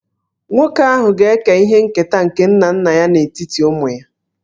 Nwoke ahụ ga-eke ihe nketa nke nna nna ya n'etiti ụmụ ya